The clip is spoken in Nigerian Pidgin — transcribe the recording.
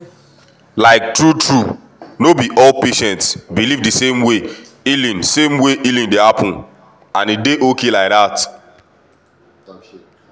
like true-true no be all patients believe the same way healing same way healing dey happen — and e dey okay like that.